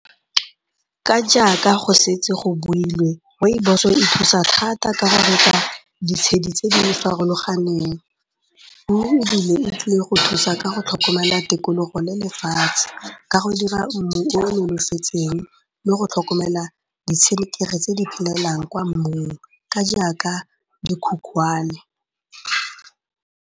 Ka jaaka go setse go builwe, Rooibos-o e thusa thata ka ditshedi tse di farologaneng ebile e tlile go thusa ka go tlhokomela tikologo le lefatshe ka go dira mmu o le go tlhokomela ditshenekegi tse di kwa mmung ka jaaka dikhukubane.